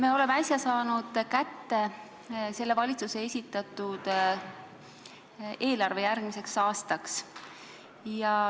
Me oleme äsja saanud kätte valitsuse esitatud eelarve järgmiseks aastaks.